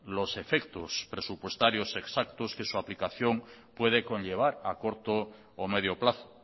los efectos presupuestarios exactos que su aplicación puede conllevar a corto o medio plazo